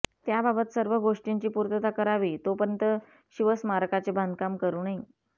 त्याबाबत सर्व गोष्टींची पूर्तता करावी तोपर्यंत शिवस्मारकाचे बांधकाम करू नये